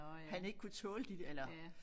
Han ikke kunne tåle de der eller